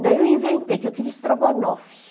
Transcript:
Daí eu inventei, que eu queria estrogonofe.